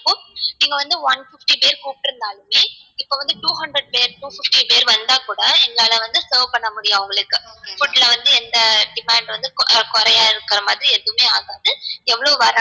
நீங்க வந்து one fifty பேர் கூப்ட்டுருந்தாளுமே இப்போ வந்து two hundred பேர் two fifty பேர் வந்தா கூட எங்களால வந்து serve பண்ண முடியும் அவங்களுக்கு food ல வந்து எந்த demand வந்து கொரயா இருக்குற மாதிரி எதுவுமே ஆகாது எவ்ளோ வராங்க